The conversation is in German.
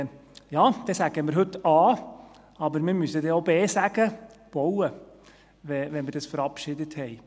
Und Ja, dann sagen wir heute A, aber wir müssen dann auch B sagen: Bauen, wenn wir es verabschiedet haben.